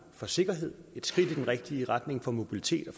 for sikkerheden et skridt i den rigtige retning for mobiliteten